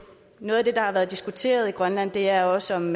noget af det der har været diskuteret i grønland er også om